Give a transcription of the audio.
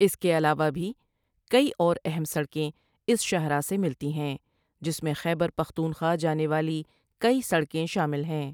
اس کے علاوہ بھی کئی اور اہم سڑکیں اس شاہراہ سے ملتی ہیں جس میں خیبر پختون خواہ جانے والی کئی سڑکیں شامل ہیں۔